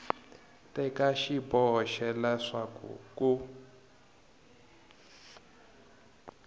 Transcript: teka xiboho xa leswaku ku